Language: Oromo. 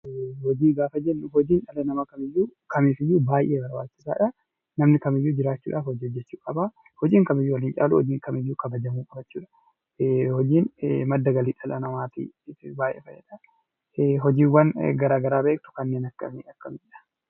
Hojiin dhala namaa kamiifiyyuu baay'ee barbaachisaadha. Namni kamiyyuu jiraachuudhaaf hojjechuu qaba. Hojiin waan wal hin caalleef kabajamuu qaba. Hojiin madda galii dhala namaati. Hojiiwwan garaa garaa kanneen akkamii beektuu?